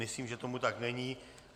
Myslím, že tomu tak není.